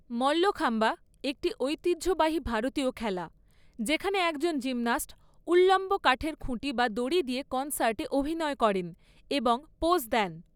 মল্লখাম্বা একটি ঐতিহ্যবাহী ভারতীয় খেলা যেখানে একজন জিমন্যাস্ট উল্লম্ব কাঠের খুঁটি বা দড়ি দিয়ে কনসার্টে অভিনয় করেন এবং পোজ দেন।